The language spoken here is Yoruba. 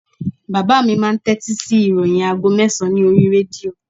Bàbá mi máà ń tẹ́tí sí ìròyìn aago mẹ́sàn-án ní oríi rédíò